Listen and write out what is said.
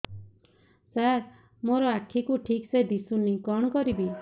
ସାର ମୋର ଆଖି କୁ ଠିକସେ ଦିଶୁନି କଣ କରିବି